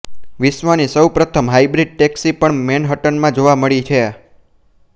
વિશ્વની સૌ પ્રથમ હાઇબ્રિડ ટેક્સી પણ મેનહટનમાં જોવા મળે છે